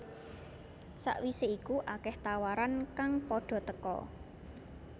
Sakwise iku akeh tawaran kang padha teka